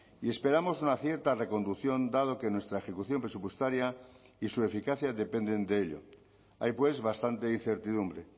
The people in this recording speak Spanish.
y esperamos una cierta reconducción dado que nuestra ejecución presupuestaria y su eficacia dependen de ello hay pues bastante incertidumbre